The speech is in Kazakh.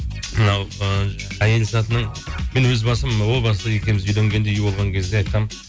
мынау ы әйел затының мен өз басым о баста екеуіміз үйленгенде үй болған кезде айтқанмын